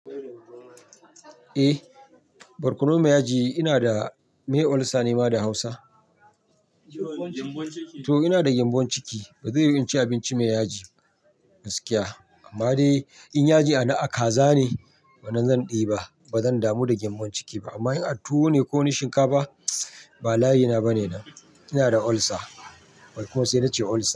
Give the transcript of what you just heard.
Eh, barkono mai yaji, ina da meye olsa ne ma da hausa? To ina da gyambon ciki, bazai yiwu in ci abinci mai yaji, gaskiya. Amma dai in yaji ana' a kaza ne, wanan zan ɗiba, bazan damu da gyambon ciki ba. Amma in a tuwo ne ko na shinkafa, ba layi na bane nan, ina da olsa. Barkono sai nace olsa.